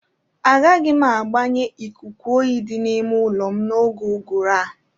Agaghị m agbanye ikuku oyi di n'ime ụlọ m n'oge uguru a.